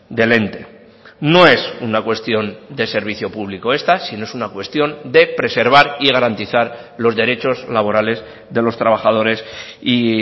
del ente no es una cuestión de servicio público esta sino es una cuestión de preservar y garantizar los derechos laborales de los trabajadores y